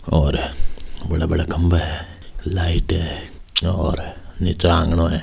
और बड़ा बड़ा खम्बा है लाइट है और निचे आंगणो है।